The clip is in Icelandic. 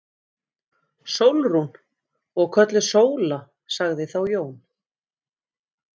Sólrún. og kölluð Sóla, sagði þá Jón.